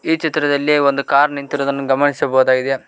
ಈ ಚಿತ್ರದಲ್ಲಿ ಒಂದು ಕಾರ್ ನಿಂತಿರುದನ್ನು ಗಮನಿಸಬಹುದಾಗಿದೆ.